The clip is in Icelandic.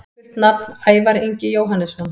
Fullt nafn: Ævar Ingi Jóhannesson